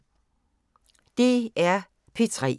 DR P3